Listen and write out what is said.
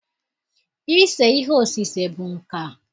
Ise ihe osise bụ nka.